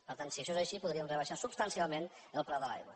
per tant si això és així podríem rebaixar substancialment el preu de l’aigua